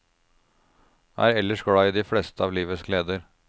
Er ellers glad i de fleste av livets gleder.